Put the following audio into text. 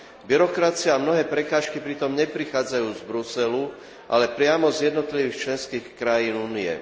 Byrokracia a mnohé prekážky pritom neprichádzajú z Bruselu, ale priamo z jednotlivých členských krajín Únie.